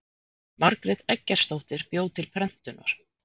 Margrét Eggertsdóttir bjó til prentunar.